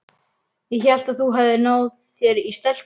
Ég hélt að þú hefðir náð þér í stelpu.